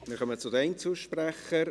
Wir kommen zu den Einzelsprechern.